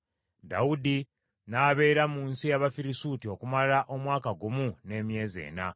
Dawudi n’abeera mu nsi ey’Abafirisuuti okumala omwaka gumu n’emyezi ena.